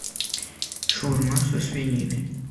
шаурма со свининой